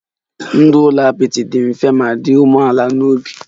Ndụ n'ụlọ apịtị dị mfe ma dị umeala n'obi